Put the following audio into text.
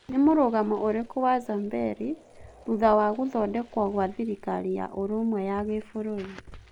Nĩmũrugamo ũrĩku wa Zamberi thutha wa gũthondekwo gwa thĩrikari ya ũrũmwe ya gĩbũrũri ?